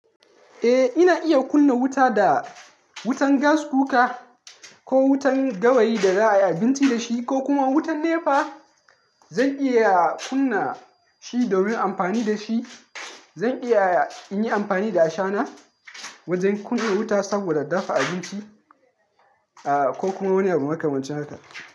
Eh, ina iya kunna wuta da wutan gas kuka ko wutan gawayi da za a yi abinci da shi ko kuma wutan NEPA. Zan iya kunna shi domin amfani da shi. Zan iya in yi amfani da ashana wajen kunna wuta saboda dafa abinci, ah, ko kuma wani abu makamancin haka.